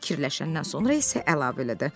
Bir qədər fikirləşəndən sonra isə əlavə elədi.